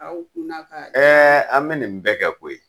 Aw kun na ka an bɛ nin bɛɛ kɛ koyi.